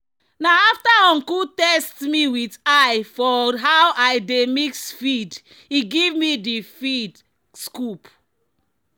"na after uncle test me with eye for how i dey mix feed e give me di feed scoop."